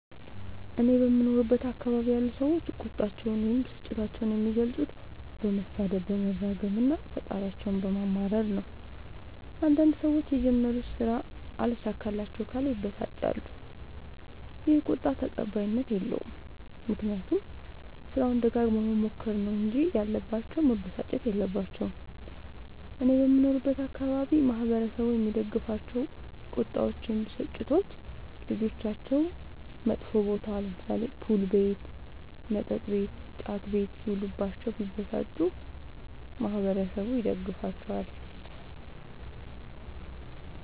እኔ በምኖርበት አካባቢ ያሉ ሠዎች ቁጣቸዉን ወይም ብስጭታቸዉን የሚገልፁት በመሣደብ በመራገም እና ፈጣሪያቸዉን በማማረር ነዉ። አንዳንድ ሠዎች የጀመሩት ስራ አልሣካላቸዉ ካለ ይበሳጫሉ ይ። ይህ ቁጣ ተቀባይኀት የለዉም። ምክንያቱም ስራዉን ደጋግመዉ መሞከር ነዉ እንጂ ያለባቸዉ መበሳጨት የለባቸዉም። እኔ በምኖርበት አካባቢ ማህበረሰቡ የሚደግፋቸዉ ቁጣዎች ወይም ብስጭቶች ልጆቻቸዉ መጥፌ ቦታ[ፑል ቤት መጥ ቤት እና ጫት ቤት ]ሢዉሉባቸዉ ቢበሳጩ ማህበረሠቡ ይደግፋቸዋል።